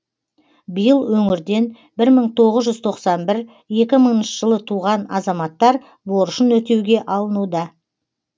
биыл өңірден бір мың тоғыз жүз тоқсан бір екі мыңыншы жылы туған азаматтар борышын өтеуге алынуда